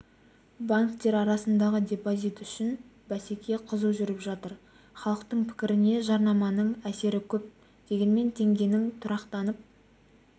банктер арасындағы депозит үшін бәсеке қызу жүріп жатыр халықтың пікіріне жарнаманың әсері көп дегенмен теңгенің тұрақтанып